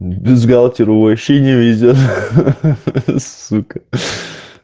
м бюстгальтеры вообще не видят сука